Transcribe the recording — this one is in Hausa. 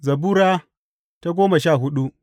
Zabura Sura goma sha hudu